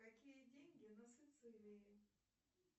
какие деньги на сицилии